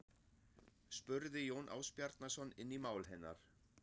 spurði Jón Ásbjarnarson inn í mál hennar.